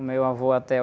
O meu avô até